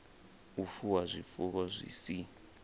u fuwa zwifuwo zwi si